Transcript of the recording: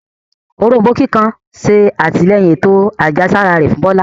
Òrombó kíkan ṣe atilẹyin ètò àjẹsára rẹ fún Bola.